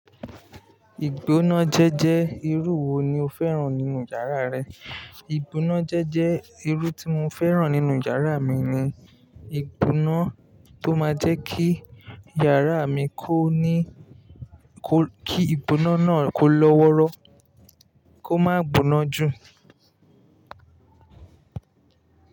Ìgbónájẹ́ jẹ́ irú wo ni o fẹ́ràn nínú yàrá rẹ? Ìgbóná jẹ́jẹ́ irú tí mo fẹ́ràn nínú yàrá mi ni ìgbóná tó máa ń jẹ́ kí yàrá mi kó ní kó, kí ìgbóná náà kó lọ́wọ́rọ́, kó má gboná jù.